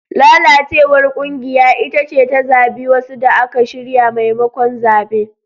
Lalacewar kungiya ita ce ta zabi wasu da aka shirya maimakon zabe.